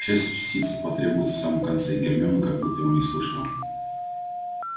к счастью частицы потребуются в самом конце гермиона как будто его не слышала